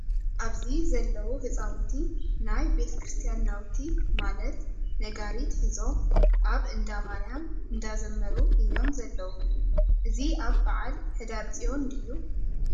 ኣብዚ ዘለው ህሳውንቲ ናይ ቤተ-ክርስትያን ናብቲ ማለት ነጋሪት ሒዞ ኣብ እንዳማርያ እንዳዘመሩ እዮ ም ዘለው:: እዚ ኣብ በዓል ሕዳርፅዮን ድዩ ?